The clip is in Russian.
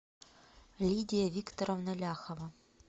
лидия викторовна ляхова